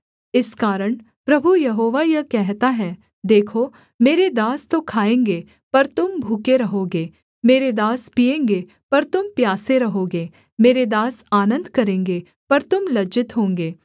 इस कारण प्रभु यहोवा यह कहता है देखो मेरे दास तो खाएँगे पर तुम भूखे रहोगे मेरे दास पीएँगे पर तुम प्यासे रहोगे मेरे दास आनन्द करेंगे पर तुम लज्जित होंगे